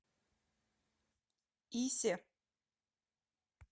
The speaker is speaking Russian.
исе